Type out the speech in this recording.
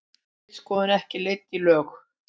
Ritskoðun ekki leidd í lög